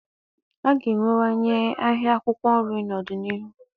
A ga-enwewanye ahịa akwụkwọ nri n'ọdịnihu.